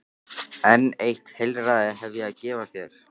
En eitt heilræði hef ég að gefa þér.